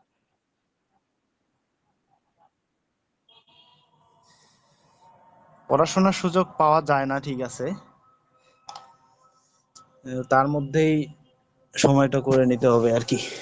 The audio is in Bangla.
পড়াশুনার সুযোগ পাওয়া যায় না ঠিক আছে, তার মধ্যেই সময়টা করে নিতে হবে আর কি।